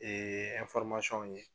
ye.